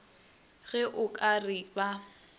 ge o ka re ba